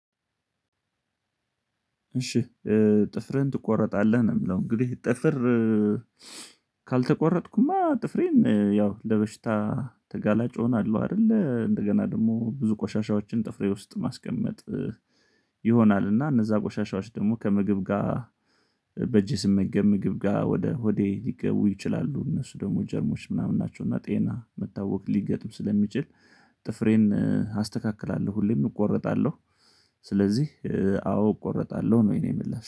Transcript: እሺ ጥፍርን ትቆረጣለህ ነው የምለው። እንግዲህ ጥፍር ካልተቆረጥኩማ ጥፍሬን ያው ለበሽታ ተጋላጭ እሆናለሁ። አይደለ እንደገና ደግሞ ብዙ ቆሻሻዎችን ጥፍሬ ውስጥ ማስቀመጥ ይሆናል። እና እነዛ ቆሻሻዎች ደግሞ ከምግብ ጋር በእጄ ስመገብ ምግብ ጋር ወደ ሆዴ ሊገቡ ይችላሉ እነሱ ደግሞ ጀርሞች ምናምን ናቸው እና ጤና መታወክ ሊገጥም ስለሚችል። ጥፍሬን አስተካክላለሁ ሁሌም እቆርጣለሁ። ስለዚህ አዎ እቆርጣለሁ ነው የኔ ምላሽ